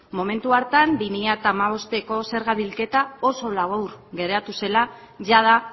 momentu hartan bi mila hamabosteko zerga bilketa oso labur geratu zela jada